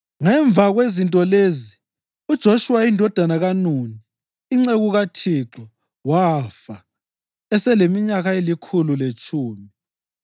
Ngemva kwezinto lezi, uJoshuwa indodana kaNuni, inceku kaThixo wafa eseleminyaka elikhulu letshumi.